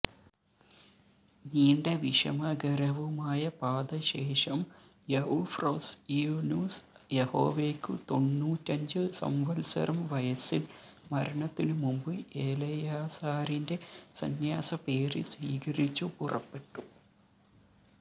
നീണ്ട വിഷമകരവുമായ പാത ശേഷം എഉഫ്രൊസ്യ്നുസ് യഹോവേക്കു തൊണ്ണൂറ്റഞ്ചു സംവത്സരം വയസ്സിൽ മരണത്തിനുമുമ്പ് എലെയാസാരിന്റെ സന്യാസ പേര് സ്വീകരിച്ചു പുറപ്പെട്ടു